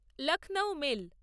Lucknow mail